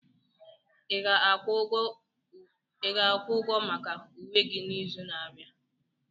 Ị ga-akwụ ụgwọ maka uwe gị n'izu na-abịa?